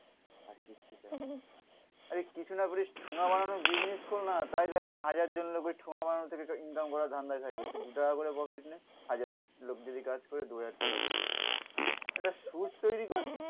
আরে কিছু না করিস ঠোঙা বানানো বিজনেস কর না. তাই দেখ না হাজার জন লোকের ঠোঙা বানানো থেকে ইনকাম করার ধান্দায় থাকবে তুই দু টাকা করে প্রফিট নে. হাজার লোক যদি কাজ করে দু হাজার টাকা একটা সুচ তৈরি কর